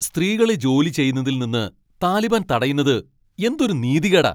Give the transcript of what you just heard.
സ്ത്രീകളെ ജോലി ചെയ്യുന്നതിൽ നിന്ന് താലിബാൻ തടയുന്നത് എന്തൊരു നീതികേടാ!